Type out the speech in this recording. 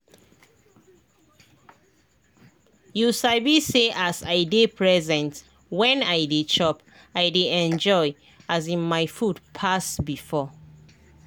you sabi say as i dey present when i dey chop i dey enjoy um my food pass before.